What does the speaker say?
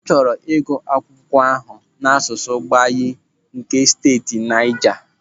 Ọ chọrọ ịgụ akwụkwọ ahụ n'asụsụ Gbagyi nke steeti Naija.